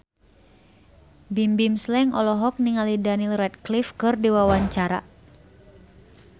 Bimbim Slank olohok ningali Daniel Radcliffe keur diwawancara